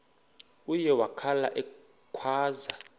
uye wakhala ekhwaza